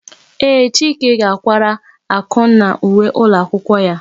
Ee, Chika ga akwara Akunna uwe ụlọ akwụkwọ ya.